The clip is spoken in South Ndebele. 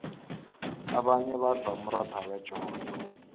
abanye badla umratha wejodo